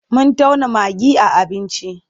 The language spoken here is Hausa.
Mun tauna magi a abinci.